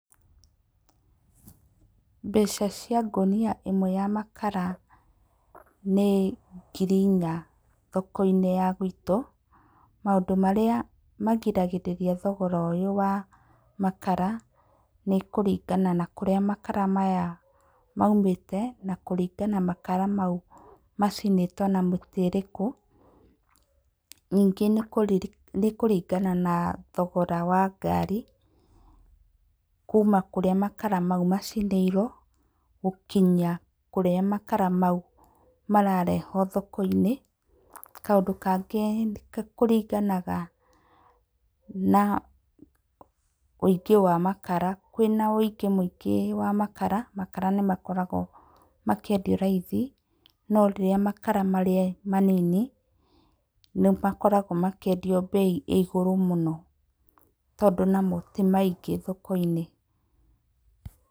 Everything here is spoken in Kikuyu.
Mbeca cia ngũnia ĩmwe ya makara, nĩ ngiri inya thoko-inĩ ya gwĩtũ. Maũndũ marĩa magiragĩrĩria thogora ũyũ wa makara nĩ kũringana na kũrĩa makara maya maumĩte, na kũringana kana makara maya macinĩtwo na mĩtĩ ĩrĩkũ. Ningĩ nĩ kũringana na thogora wa ngari kuma kũrĩa makara mau macinĩirwo gũkinya kũrĩa makara mau mararehwo thoko-inĩ. Kaũndũ kangĩ nĩ kũringanaga na ũingĩ wa makara. Kwĩna ũingĩ mũingĩ wa makara, makara nĩmakoragwo makĩendio raithi no rĩrĩa makara marĩ manini nĩmakoragwo makĩendio bei ĩrĩ igũrũ mũno, tondũ namo ti maingĩ thokoinĩ.